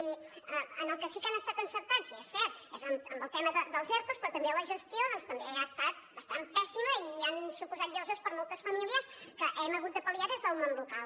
i en el que sí que han estat encertats i és cert és en el tema dels ertos però també la gestió doncs també ha estat bastant pèssima i ha suposat lloses per a moltes famílies que hem hagut de pal·liar des del món local